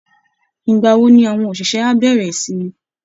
Ìgbà wo ni àwọn òṣìṣẹ́ á bẹ̀rẹ̀ ìsinmi?